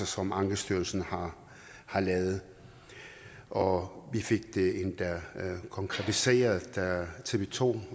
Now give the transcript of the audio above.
som ankestyrelsen har har lavet og vi fik det endda konkretiseret da tv to